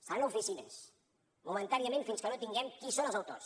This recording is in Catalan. seran a oficines momentàniament fins que no tinguem qui són els autors